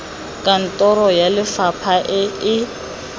kantoro ya lefapha e e